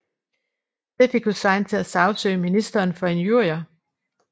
Det fik Hussain til at sagsøge ministeren for injurier